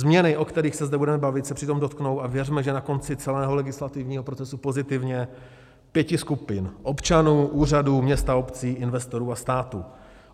Změny, o kterých se zde budeme bavit, se přitom dotknou, a věřme, že na konci celého legislativního procesu pozitivně, pěti skupin: občanů, úřadů, měst a obcí, investorů a státu.